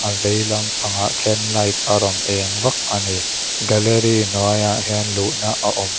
a vei lam pangah khian light a rawn eng vak a ni gallery hnuaiah hian luhna a awm a--